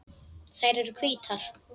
Þær eru hvítar.